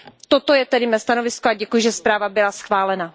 Toto je tedy mé stanovisko a děkuj, že zpráva byla schválena.